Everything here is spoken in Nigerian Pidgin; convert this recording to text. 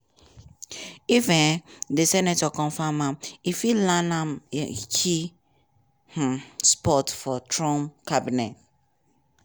if um di senate confam am e fit land am a key um spot for trump cabinet.